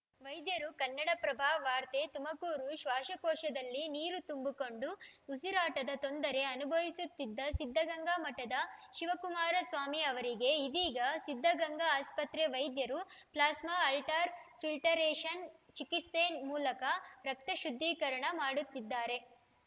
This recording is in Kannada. ವೈದ್ಯರು ಕನ್ನಡಪ್ರಭ ವಾರ್ತೆ ತುಮಕೂರು ಶ್ವಾಸಕೋಶದಲ್ಲಿ ನೀರು ತುಂಬು ಕೊಂಡು ಉಸಿರಾಟದ ತೊಂದರೆ ಅನುಭವಿಸುತ್ತಿದ್ದ ಸಿದ್ಧಗಂಗಾ ಮಠದ ಶಿವಕುಮಾರ ಸ್ವಾಮೀಜಿ ಅವರಿಗೆ ಇದೀಗ ಸಿದ್ಧಗಂಗಾ ಆಸ್ಪತ್ರೆ ವೈದ್ಯರು ಪ್ಲಾಸ್ಮಾ ಅಲ್ಟಾರ ಫಿಲ್ಟೆರೕಷನ್‌ ಚಿಕಿತ್ಸೆ ಮೂಲಕ ರಕ್ತ ಶುದ್ಧೀಕರಣ ಮಾಡುತ್ತಿದ್ದಾರೆ